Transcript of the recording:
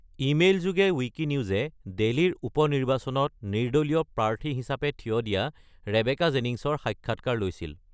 ইমেইলযোগে ৱিকিনিউজে ডেলিৰ উপ-নিৰ্বাচনত নিৰ্দলীয় প্ৰাৰ্থী হিচাপে থিয় দিয়া ৰেবেকা জেনিংছৰ সাক্ষাৎকাৰ লৈছিল।